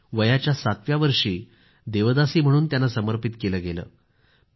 वयाच्या सातव्या वर्षी देवदासी म्हणून त्यांनी स्वतला समर्पित केलं होतं